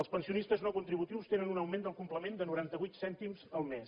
els pensionistes no contributius tenen un augment del complement de noranta vuit cèntims al mes